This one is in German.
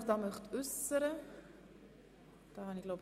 Das ist nicht der Fall.